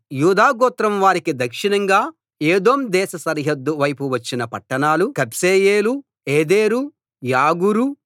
యూదా గోత్రం వారికి దక్షిణంగా ఎదోం దేశ సరిహద్దు వైపు వచ్చిన పట్టణాలు కబ్సెయేలు ఏదెరు యాగూరు